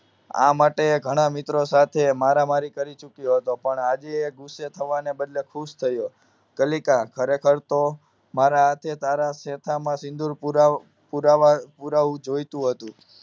આ માટે ઘણા મિત્રો સાથે મારામારી કરી ચૂક્યો હતો પણ આજે એ ગુસ્સે થવાને બદલે ખુશ થયો કલીકા ખરેખર તો મારા હાથે તારા શેથામાં સિંદૂર પુરા પુરા પુરાવા જોઈતું હતું